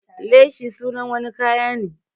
Leshi sunan wani kaya ne.